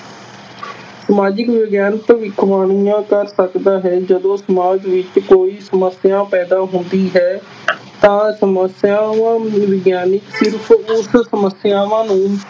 ਸਮਾਜਿਕ ਵਿਗਿਆਨ ਭਵਿੱਖਵਾਣੀਆਂ ਕਰ ਸਕਦਾ ਹੈ, ਜਦੋਂ ਸਮਾਜ ਵਿਚ ਕੋਈ ਸਮੱਸਿਆ ਪੈਦਾ ਹੁੰਦੀ ਹੈ ਤਾਂ ਸਮੱਸਿਆਵਾਂ ਨੂੰ ਵਿਗਿਆਨਕ ਸਿਰਫ਼ ਉਸ ਸਮੱਸਿਆਵਾਂ ਨੂੰ